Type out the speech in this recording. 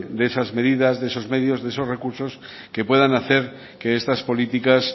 de esas medidas de eso medios de esos recursos que puedan hacer que estas políticas